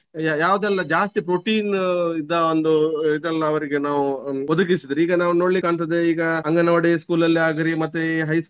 ಯ~ ಯಾವುದೆಲ್ಲ ಜಾಸ್ತಿ protein ಇದ್ದ ಒಂದು ಇದೆಲ್ಲ ಅವರಿಗೆ ನಾವು ಒದಗಿಸಿದ್ರೆ ಈಗ ನಾವು ನೋಡ್ಲಿಕ್ಕಂತದ್ದು ಈಗ ಅಂಗನವಾಡಿ school ಅಲ್ಲಾಗ್ಲಿ ಮತ್ತೆ.